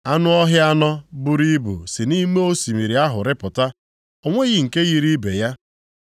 Anụ ọhịa anọ buru ibu si nʼime osimiri ahụ rịpụta. O nweghị nke yiri ibe ya.